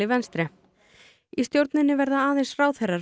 venstre í stjórninni verða aðeins ráðherrar